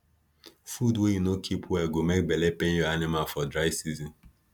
food wey you no keep well go make belle pain your animal for dry season